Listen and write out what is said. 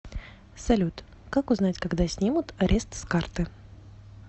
салют как узнать когда снимут арест с карты